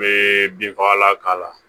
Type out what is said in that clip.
N bɛ binfagalan k'a la